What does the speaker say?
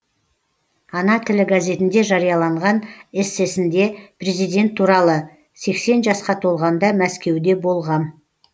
ана тілі газетінде жарияланған эссесінде президент туралы сексен жасқа толғанда мәскеуде болғам